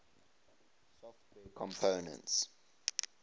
software components